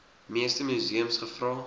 meeste museums gevra